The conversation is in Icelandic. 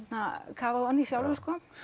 kafað ofan í sjálfur